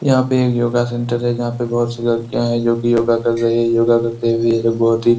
यहाँ पे एक योगा सेण्टर जहाँ पे बहुत सी लड़कियाँ है जोकि योगा कर रही है योगा करते हुए ये लोग बहुत ही।